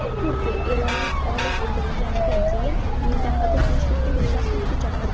Turkiya eronlik olim o‘ldirilganidan keyin mintaqada tinchlikni buzmaslikka chaqirdi.